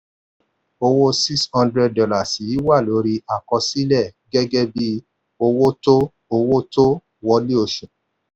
owó six hundred dollars yìí wà lórí àkọsílẹ̀ gẹ́gẹ́ bí owó tó owó tó wọlé oṣù.